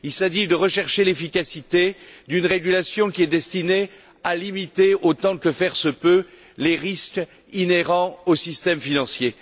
Il s'agit de rechercher l'efficacité d'une régulation qui est destinée à limiter, autant que faire se peut, les risques inhérents au système financier.